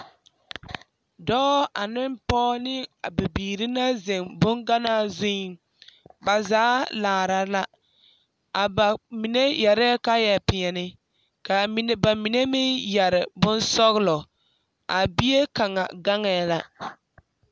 Dɔɔ ane pɔge ane biiri la zeŋ ba boŋganaa zuriŋ ba zaa laara la ba mine yɛrɛɛ kaayɛ peɛle kaa ba mine meŋ yɛrɛ bonsɔgelɔ a bie kaŋa gaŋee la